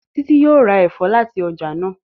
Titi yóò rá èfó láti ọjà náa.